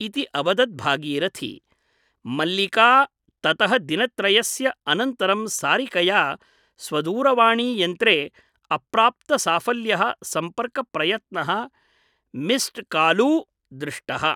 इति अवदत् भागीरथी । मल्लिका ततः दिनत्रयस्य अनन्तरं सारिकया स्वदूरवाणीयन्त्रे अप्राप्तसाफल्यः सम्पर्कप्रयत्नः मिस्ड्कालू दृष्टः ।